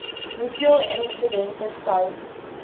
hoeveel insidente sou